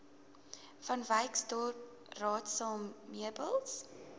vanwyksdorp raadsaal meubels